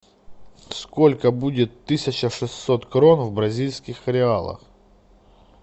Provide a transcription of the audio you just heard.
сколько будет тысяча шестьсот крон в бразильских реалах